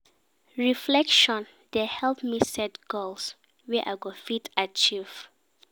Reflection dey help me set goals wey I go fit achieve.